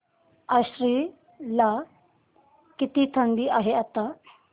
आश्वी ला किती थंडी आहे आता